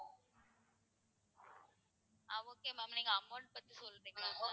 ஆஹ் okay ma'am நீங்க amount பத்தி சொல்றிங்களா இப்போ?